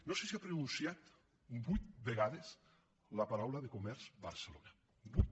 no sé si ha pronunciat vuit vegades la paraula de comerç barcelona vuit